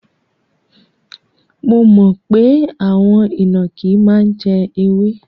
Mo mọ̀ pé àwọn ìnàkí máa ń jẹ ewé.